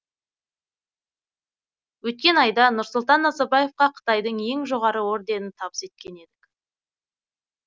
өткен айда нұрсұлтан назарбаевқа қытайдың ең жоғары орденін табыс еткен едік